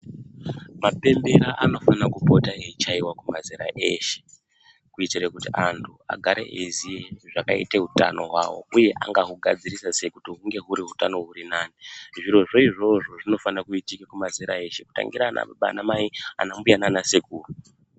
Mapembera anofana kupota eichaiwa kuma zera eshe kuitire kuti vantu agare zvakaite utano hwavo uye angahugadzirisa sei hunge hurinani zviro izvozvo zvinofanire kuitike kumazera eshe kutangira baba ana mai ana mbuya nana sekuru .